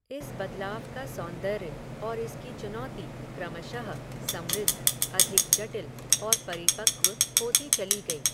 इस बदलाव का सौन्दर्य, और इसकी चुनौती, क्रमशः, समृद्ध, अधिक जटिल, और परिपक्व होती चली गयी